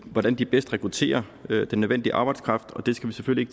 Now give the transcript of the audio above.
hvordan de bedst rekrutterer den nødvendige arbejdskraft og det skal vi selvfølgelig